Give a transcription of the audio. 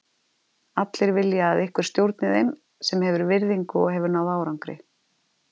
Allir vilja að einhver stjórni þeim sem hefur virðingu og hefur náð árangri.